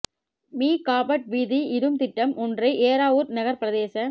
me carpet வீதி இடும் திட்டம் ஒன்றை ஏறாவூர் நகர் பிரதேச